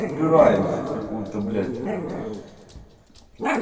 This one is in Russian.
упираемся в какую-то блять